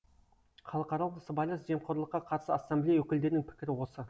халықаралық сыбайлас жемқорлыққа қарсы ассамблея өкілдерінің пікірі осы